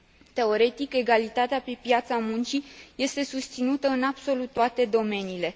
Teoretic, egalitatea pe piața muncii este susținută în absolut toate domeniile.